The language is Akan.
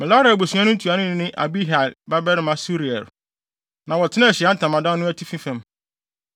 Merari abusua no ntuanoni ne Abihail babarima Suriel, na wɔtenaa Ahyiae Ntamadan no atifi fam.